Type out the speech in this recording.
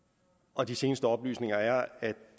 og de seneste oplysninger er at